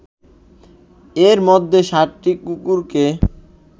এর মধ্যেই সাতটি কুকুরকে